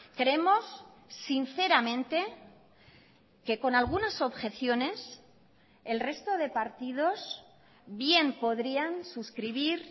creemos sinceramente que con algunas objeciones el resto de partidos bien podrían suscribir